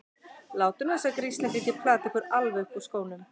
Látið nú þessa grislinga ekki plata ykkur alveg upp úr skónum!